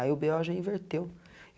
Aí o bê ó já inverteu.